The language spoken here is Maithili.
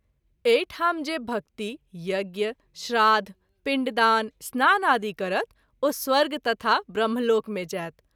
एहि ठाम जे भक्ति, यज्ञ, श्राद्ध, पिण्डदान, स्नानादि करत ओ स्वर्ग तथा ब्रह्म लोक मे जाएत।